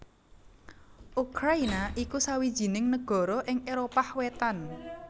Ukrayina iku sawijining nagara ing Éropah Wetan